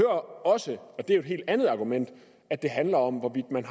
også og det er jo et helt andet argument at det handler om hvorvidt man